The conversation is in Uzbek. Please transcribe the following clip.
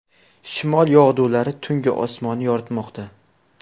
Shimol yog‘dulari tunggi osmonni yoritmoqda.